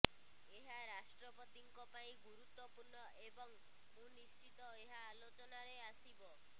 ଏହା ରାଷ୍ଟ୍ରପତିଙ୍କ ପାଇଁ ଗୁରୁତ୍ୱପୂର୍ଣ୍ଣ ଏବଂ ମୁଁ ନିଶ୍ଚିତ ଏହା ଆଲୋଚନାରେ ଆସିବ